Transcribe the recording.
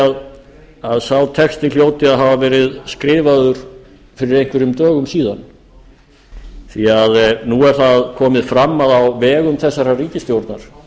því að sá texti hljóti að hafa verið skrifaður fyrir einhverjum dögum síðan því nú er það komið fram að á vegum þessarar ríkisstjórnar